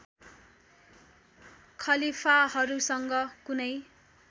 खलीफाहरूसँग कुनै